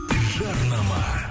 жарнама